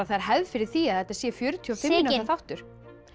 það er hefð fyrir því að þetta sé fjörutíu og fimm mínútna þáttur